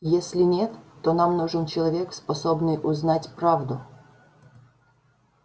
если нет то нам нужен человек способный узнать правду